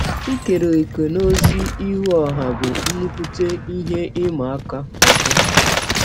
Ikere ọ̀kè n’ọzi ihụ ọha bụ nnụkwụte ihe ịma aka ọzọ.